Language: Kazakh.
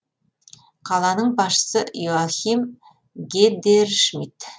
қаланың басшысы йоахим гедершмидт